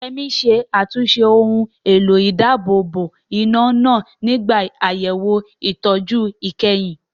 Yemi ṣe àtúnṣe ohun èlò ìdáàbòbò iná náà nígbà àyẹ̀wò ìtọ́jú ìkẹyìn.